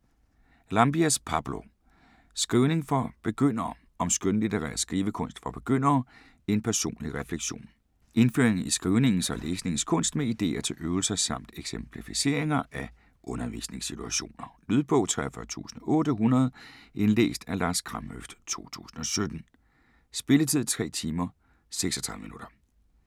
Llambías, Pablo: Skrivning for begyndere: om skønlitterær skrivekunst for begyndere - en personlig refleksion Indføring i skrivningens og læsningens kunst med ideer til øvelser samt eksemplificeringer af undervisningssituationer. Lydbog 43800 Indlæst af Lars Kramhøft, 2017. Spilletid: 3 timer, 36 minutter.